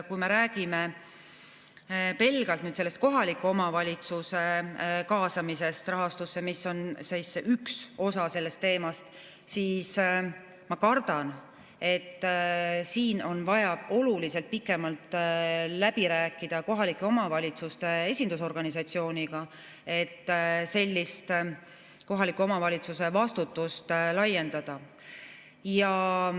Kui me räägime pelgalt kohaliku omavalitsuse kaasamisest rahastusse, mis on üks osa sellest teemast, siis ma kardan, et siin on vaja oluliselt pikemalt läbi rääkida kohalike omavalitsuste esindusorganisatsiooniga, et kohaliku omavalitsuse vastutust laiendada.